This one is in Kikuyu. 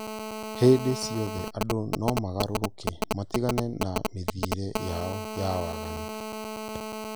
hĩndĩ ciothe andũ no magarũrũke matigane na mĩthiĩre yao ya waganu